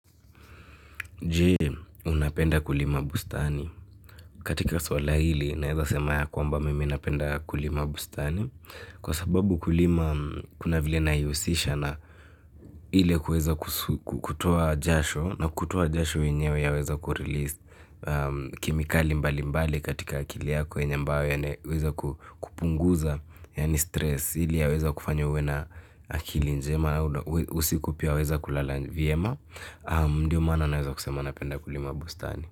Jee, unapenda kulima bustani. Katika swala hili, naweza sema ya kwamba mimi napenda kulima bustani. Kwa sababu kulima, kuna vile naihusisha na ile kuweza kutoa jasho, na kutoa jasho yenyewe yaweza kurelease kemikali mbali mbali katika akili yako yenye ambayo inaweza kupunguza, yani stress. Ili yaweze kufanya uwe na akili njema usiku pia waweza kulala vyema ndio maana naweza kusema napenda kulima bustani.